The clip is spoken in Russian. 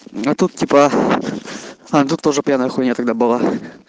а тут типа а тут тоже пьяная хуйня тогда была